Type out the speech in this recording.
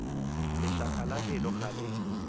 lešaka la pelo ga le